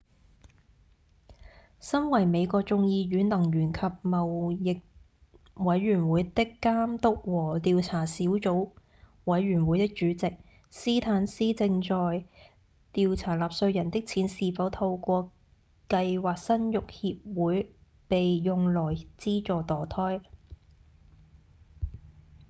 身為美國眾議院能源及貿易委員會的監督和調查小組委員會的主席司坦斯正在調查納稅人的錢是否透過「計劃生育協會」被用來資助墮胎